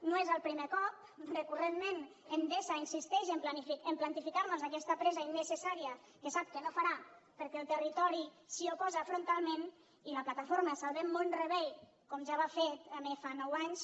no és el primer cop recurrentment endesa insisteix a plantificar nos aquesta presa innecessària que sap que no farà perquè el territori s’hi oposa frontalment i la plataforma salvem mont rebei com ja va fer també fa nou anys